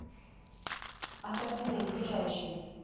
ассортимент ближайший